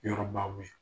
Yɔrɔbaw ye